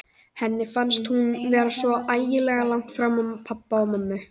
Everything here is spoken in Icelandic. Henni fannst hún vera svo ægilega langt frá pabba og mömmu.